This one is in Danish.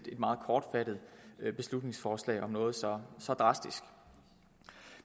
meget kortfattet beslutningsforslag om noget så så drastisk